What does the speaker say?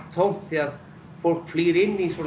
tómt því að fólk flýr inn í